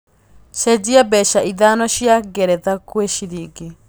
cenjĩa mbeca ĩthano cĩa geretha gwi cĩrĩngĩ